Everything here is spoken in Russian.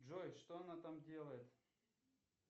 джой что она там делает